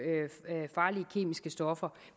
farlige kemiske stoffer